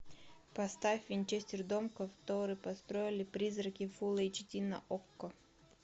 поставь винчестер дом который построили призраки фулл эйч ди на окко